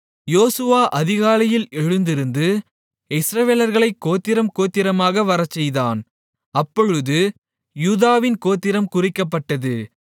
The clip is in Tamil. யோசுவா அதிகாலையில் எழுந்திருந்து இஸ்ரவேலர்களைக் கோத்திரம் கோத்திரமாக வரச்செய்தான் அப்பொழுது யூதாவின் கோத்திரம் குறிக்கப்பட்டது